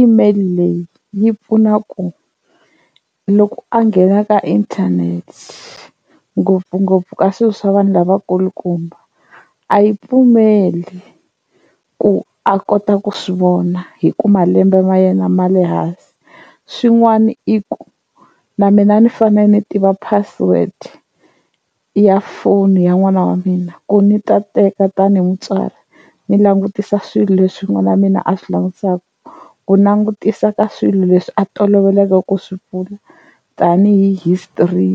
email leyi yi pfuna ku loko a nghena ka internet the ngopfungopfu ka swi swa vanhu lavakulukumba a yi pfumeli ku a kota ku swivona hi ku malembe ma yena ma le hansi, swin'wana i ku na mina ni fane ni tiva password ya foni ya n'wana wa mina ku ni ta teka tanihi mutswari ni langutisa swilo leswi n'wana wa mina a swi langutisaku ku langutisa ka swilo leswi a toloveleke ku swi pfula tanihi hi history.